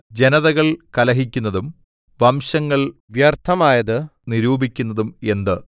ജനതകൾ കലഹിക്കുന്നതും വംശങ്ങൾ വ്യർത്ഥമായത് നിരൂപിക്കുന്നതും എന്ത്